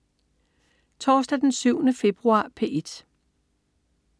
Torsdag den 7. februar - P1: